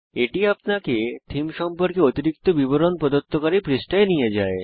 এটি আপনাকে থীম সম্পর্কে অতিরিক্ত বিবরণ প্রদত্তকারী পৃষ্ঠায় নিয়ে যায়